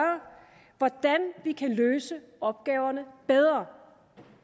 hvordan vi kan løse opgaverne bedre